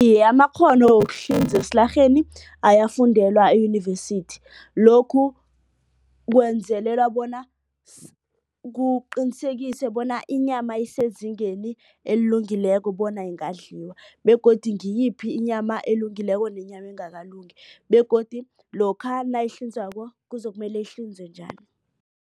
Iye, amakghono wokuhlinza esilarheni ayafundelwa eyunivesithi. Lokhu kwenzelelwa bona kuqinisekise bona inyama isezingeni elilungileko bona ingadliwa begodu ngiyiphi inyama elungileko nenyama engakalungi begodu lokha nayihlinzwako kuzokumele ihlinzwe njani.